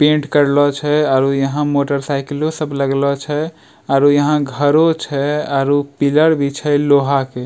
पेंट करलो छै और उ यहाँ मोटर साइकिलो सब लगलो छै आरो यहां घरो छै आरो पिलर भी छै लोहा के।